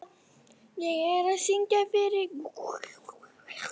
Oddsteinn, hvernig er veðrið á morgun?